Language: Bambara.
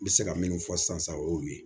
N bɛ se ka min fɔ sisan o y'o ye